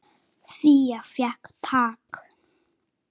Fía fékk tak.